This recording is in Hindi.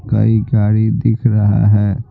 कई गाड़ी दिख रहा है।